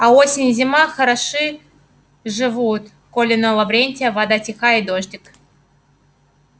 а осень и зима хороши живут коли на лаврентия вода тиха и дождик